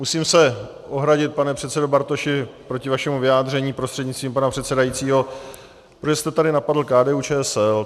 Musím se ohradit, pane předsedo Bartoši proti vašemu vyjádření prostřednictvím pana předsedajícího, protože jste tady napadl KDU-ČSL.